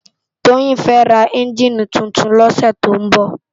Toyin fè rá ènjini tútún lòsè tó n bò